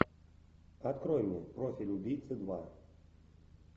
открой мне профиль убийцы два